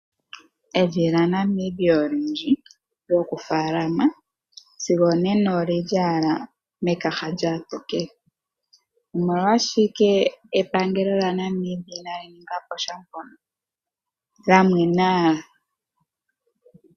Evi lyaNamibia olindji lyokufaalama sigo onena oli li owala miikaha yaatiligane. Omolwashike epangelo lyaNamibia inali ninga po sha mpoka, lya mwen owala?